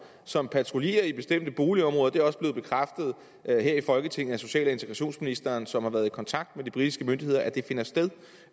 som patruljerer i bestemte boligområder det er også blevet bekræftet her i folketinget af social og integrationsministeren som har været i kontakt med de britiske myndigheder at det finder sted